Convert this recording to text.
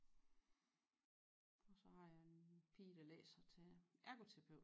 Og så har jeg en pige der læser til ergoterapeut